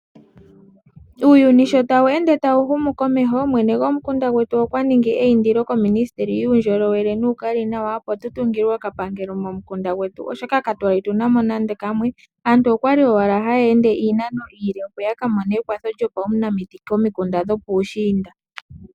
Uuyuni sho tawu ende tawu humu komeho, mwene gomukunda gwetu okwa ningi eyindilo kominisiteli yuundjolowele nuukali nawa, opo tu tungilwe oka pangelo momukunda gwetu, oshoka katwali tunamo nande kamwe. Aantu okwali owala haya ende iinano iile opo yaka mone ekwatho lyopaunamiti komikunda dhopuushiinda.